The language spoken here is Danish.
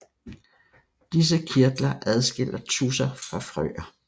Disse kirtler adskiller tudser fra frøer